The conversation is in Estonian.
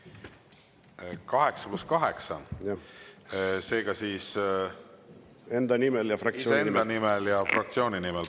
Aa, 8 + 8, seega siis iseenda nimel ja fraktsiooni nimel.